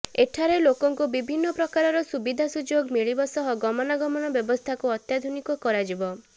ଏଠାରେ ଲୋକଙ୍କୁ ବିଭିନ୍ନ ପ୍ରକାରର ସୁବିଧା ସୁଯୋଗ ମିଳିବ ସହ ଗମନାଗମନ ବ୍ୟବସ୍ଥାକୁ ଅତ୍ୟାଧୁନିକ କରାଯିବ